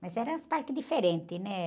Mas eram uns parques diferentes, né?